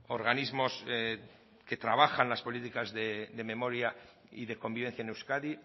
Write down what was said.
organismos que trabajan las políticas de memoria y de convivencia en euskadi